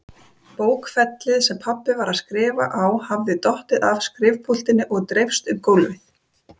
Bókfellið sem pabbi var að skrifa á hafði dottið af skrifpúltinu og dreifst um gólfið.